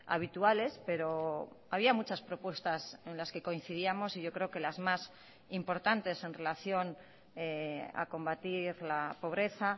habituales pero había muchas propuestas en las que coincidíamos y yo creo que las más importantes en relación a combatir la pobreza